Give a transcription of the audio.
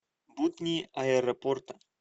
будни аэропорта